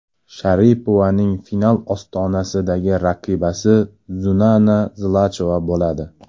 Sharipovaning final ostonasidagi raqibasi Zuzana Zlachova bo‘ladi.